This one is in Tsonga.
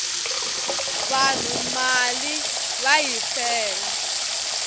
vanhu mali va yi fela